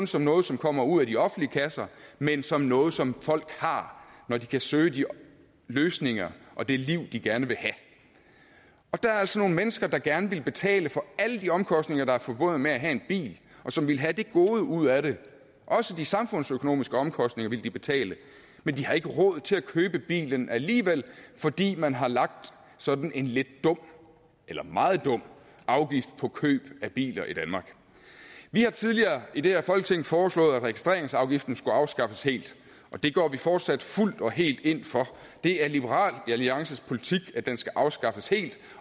som noget som kommer ud af de offentlige kasser men som noget som folk har når de kan søge de løsninger og det liv de gerne vil have der er altså nogle mennesker der gerne ville betale alle de omkostninger der er forbundet med at have en bil og som ville have et gode ud af det også de samfundsøkonomiske omkostninger ville de betale men de har ikke råd til at købe bilen alligevel fordi man har lagt sådan en lidt dum eller meget dum afgift på køb af biler i danmark vi har tidligere i det her folketing foreslået at registreringsafgiften skulle afskaffes helt og det går vi fortsat fuldt og helt ind for det er liberal alliances politik at den skal afskaffes helt